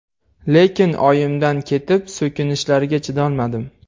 Lekin oyimdan ketib so‘kinishlariga chidolmadim.